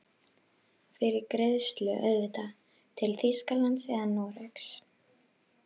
Fyrir greiðslu auðvitað, til Þýskalands eða Noregs?